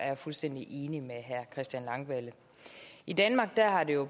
jeg fuldstændig enig med herre christian langballe i danmark har det jo